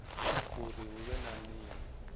uri hu vhe na nila